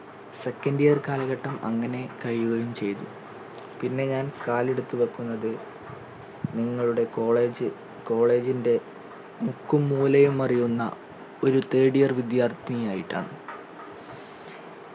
second year കാലഘട്ടം അങ്ങനെ കഴിയുകയും ചെയ്തു പിന്നെ ഞാൻ കാലെടുത്തു വെക്കുന്നത് ഞങ്ങളുടെ college college ൻറെ മുക്കും മൂലയും അറിയുന്ന ഒരു third year വിദ്യാർത്ഥിനി ആയിട്ടാണ്